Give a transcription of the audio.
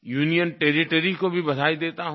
union territory को भी बधाई देता हूँ